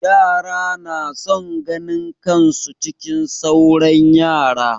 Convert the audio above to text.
Yara na son ganin kan su cikin sauran yara.